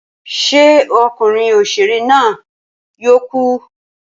Ṣé okunrin òṣèré na yóò ku?